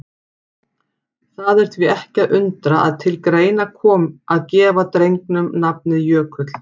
Það er því ekki að undra að til greina kom að gefa drengnum nafnið Jökull.